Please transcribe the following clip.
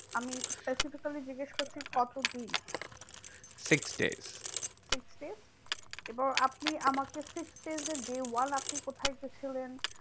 আমি specifically জিজ্ঞেস করছি কত দিন? six days. six days এবার আপনি আমাকে six days এর day one আপনি কোথায় গেছিলেন?